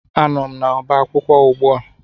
Anọ m n'ọba akwụkwọ ugbua